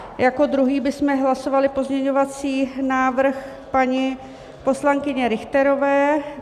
Jako druhý bychom hlasovali pozměňovací návrh paní poslankyně Richterové.